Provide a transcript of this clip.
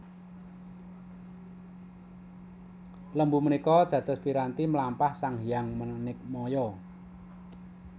Lembu menikå dados piranti mlampah Sang Hyang Manikmaya